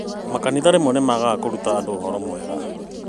Makanitha rĩmwe nĩmaagaga kũruta andũ ũhoro mwega